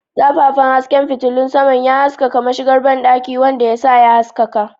Zafafan hasken fitilun saman ya haskaka mashigar banɗakin, wanda ya sa ya haskaka.